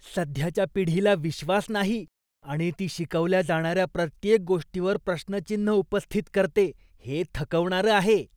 सध्याच्या पिढीला विश्वास नाही आणि ती शिकवल्या जाणाऱ्या प्रत्येक गोष्टीवर प्रश्नचिन्ह उपस्थित करते हे थकवणारं आहे.